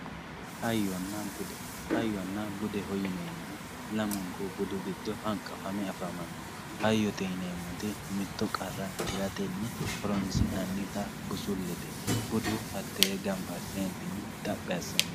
hayyona bude hayyonna budeho yineemmohu lamunku giddo hanqafame afamanno hayyote yineemmoti mittoricho tiratenni horoonsi'nannita busulete budu hateentinni gamab asse amadawo